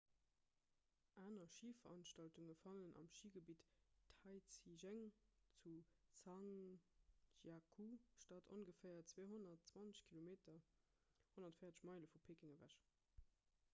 aner schiveranstaltunge fannen am schigebitt taizicheng zu zhangjiakou statt ongeféier 220 km 140 meile vu peking ewech